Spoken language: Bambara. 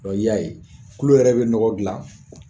Dɔ i y'a ye, tulo yɛrɛ be nɔgɔ dilan